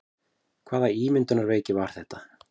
Hvaða ímyndunarveiki var þetta?